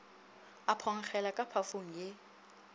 a phonkgela ka pafong ye